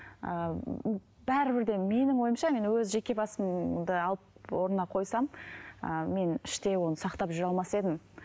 ыыы бәрібір де менің ойымша мен өз жеке басымды алып орнына қойсам ы мен іштей оны сақтап жүре алмас едім